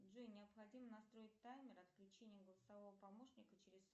джой необходимо настроить таймер отключения голосового помощника через